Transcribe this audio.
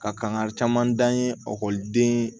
Ka kan ka caman dan ye ɔkɔliden